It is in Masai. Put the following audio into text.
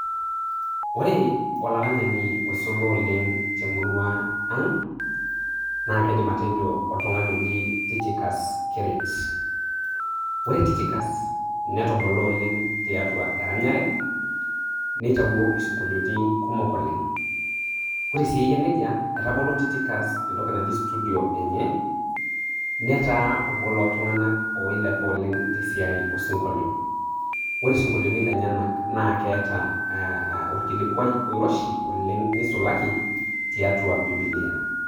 Ore olaranyani oisula oleng' temurua aang', naa kaidim atejo oltung'ani oji Tychicus Keret. Ore Tychicus netubula oleng' tiatua eranyare neitayo isinkoliotin kumok oleng'. Ore sii eyia neija, etabolo tychicus entoki naji studio enye, netaa obo looltung'anak oilepa oleng' te siai osinkolio. Ore isinkoliotin lenyenak naa keeta olkilikuai oiroshi oleng' neisulaki tiatua bibilia